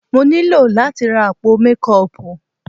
Mo ní láti ra àpò mékọọpù.